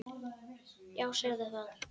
Já, segðu það!